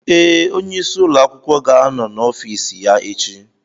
Ee, onyeisi ụlọ akwụkwọ ga-anọ n'ọfiisi ya echi.